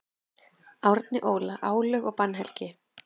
Árni Óla: Álög og bannhelgi.